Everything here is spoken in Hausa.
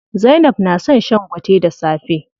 Zainab na son shan gwate da safe.